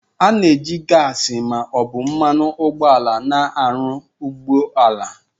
A na-eji gasị ma ọ bụ mmanụ ụgbọala na-arụ ụgbọ ala